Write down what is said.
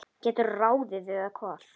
geturðu ráðið, eða hvað?